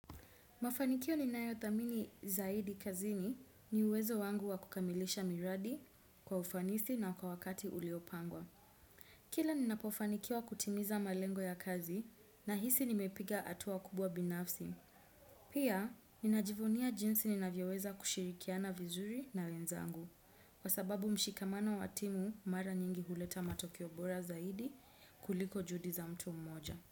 Mafanikio ninayo thamini zaidi kazini ni uwezo wangu wa kukamilisha miradi kwa ufanisi na kwa wakati uliopangwa. Kila ninapofanikiwa kutimiza malengo ya kazi na hisi nimepiga hatua kubwa binafsi. Pia, ninajivunia jinsi ninavyoweza kushirikiana vizuri na wenzangu kwa sababu mshikamano wa timu mara nyingi huleta matokeo bora zaidi kuliko juhudi za mtu mmoja.